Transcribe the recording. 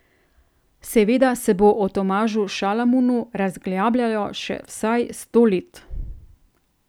Seveda se bo o Tomažu Šalamunu razglabljalo še vsaj sto let.